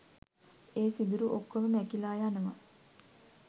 ඒ සිදුරු ඔක්කොම මැකිලා යනවා